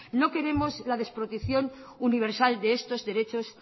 no queremos la desprotección universal de estos derechos